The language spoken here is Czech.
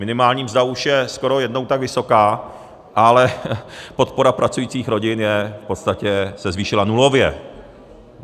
Minimální mzda už je skoro jednou tak vysoká, ale podpora pracujících rodin se v podstatě zvýšila nulově.